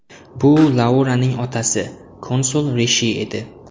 Bu Lauraning otasi, konsul Rishi edi.